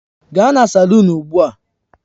Gaa na salun ugbu a!